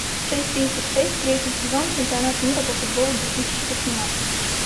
часть тридцать шесть третий сезон чемпионат мира по футболу две тысячи восемнадцать